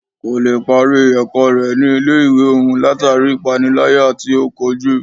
Kò lè parí ẹ̀kọ́ rẹ̀ ní ilé ìwé òún látàri ipániláyà tí o kojú.